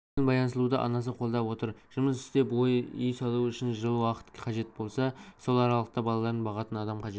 бұл ойын баянсұлуды анасы қолдап отыр жұмыс істеп үй салу үшін жыл уақыт қажет болса сол аралықта балаларын бағатын адам қажет